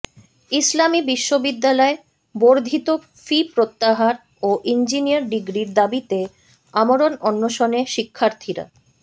ইসলামী বিশ্ববিদ্যালয় বর্ধিত ফি প্রত্যাহার ও ইঞ্জিনিয়ার ডিগ্রির দাবিতে আমরণ অনশনে শিক্ষার্থীরা